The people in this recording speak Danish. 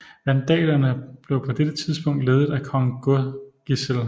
Vandalerne blev på dette tidspunkt ledet af kong Godegisel